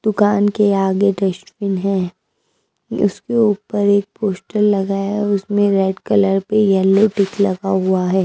दुकान के आगे डस्टबिन है उसके ऊपर एक पोश्टर लगाया है उसमें रेड कलर पे येलो टिक लगा हुआ है।